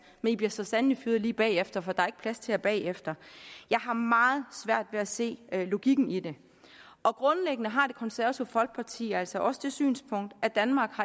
men i bliver så sandelig fyret lige bagefter for der er ikke plads til jer bagefter jeg har meget svært ved at se logikken i det grundlæggende har det konservative folkeparti altså også det synspunkt at danmark